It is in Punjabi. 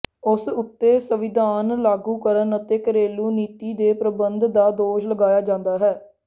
ਉਸ ਉੱਤੇ ਸੰਵਿਧਾਨ ਲਾਗੂ ਕਰਨ ਅਤੇ ਘਰੇਲੂ ਨੀਤੀ ਦੇ ਪ੍ਰਬੰਧ ਦਾ ਦੋਸ਼ ਲਗਾਇਆ ਜਾਂਦਾ ਹੈ